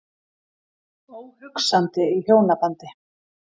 Óhugsandi í hjónabandi.